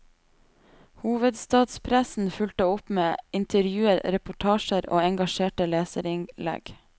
Hovedstadspressen fulgte opp med intervjuer, reportasjer og engasjerte leserinnlegg.